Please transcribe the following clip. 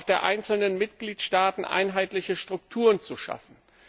der einzelnen Mitgliedstaaten einheitliche Strukturen zu schaffen.